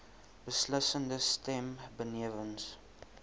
beslissende stem benewens